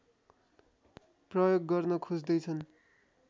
प्रयोग गर्न खोज्दैछन्